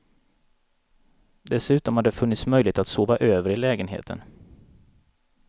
Dessutom har det funnits möjlighet att sova över i lägenheten.